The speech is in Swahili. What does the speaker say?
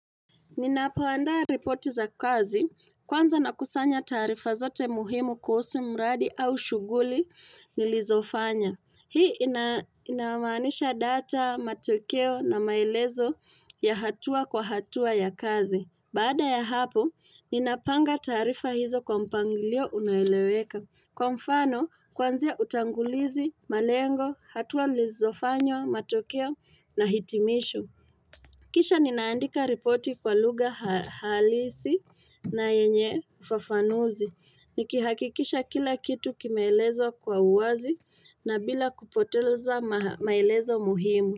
Ninapoandaa ripoti za kazi kwanza nakusanya tarifa zote muhimu kuhusu mradi au shughuli nilizofanya. Hii inamaanisha data, matokeo na maelezo ya hatua kwa hatua ya kazi. Baada ya hapo, ninapanga tarifa hizo kwa mpangilio unaoeleweka. Kwa mfano, kwanzia utangulizi, malengo, hatua nilizofanya, matokeo na hitimisho. Kisha ninaandika ripoti kwa lugha halisi na yenye ufafanuzi, nikihakikisha kila kitu kimeelezwa kwa uwazi na bila kupoteleza maelezo muhimu.